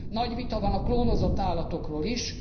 Nagy vita van a klónozott állatokról is.